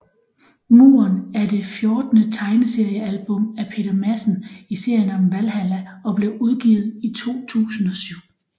Muren er det fjortende tegneseriealbum af Peter Madsen i serien om Valhalla og blev udgivet i 2007